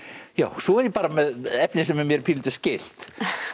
svo er ég með efni sem er mér pínulítið skylt